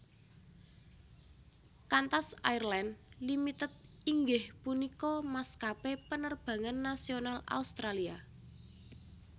Qantas Airlines Limited inggih punika maskapé penerbangan nasional Australia